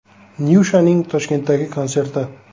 Nyushaning Toshkentdagi konserti.